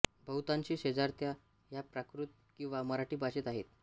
बहुतांशी शेजारत्या ह्या प्राकृत किंवा मराठी भाषेत आहेत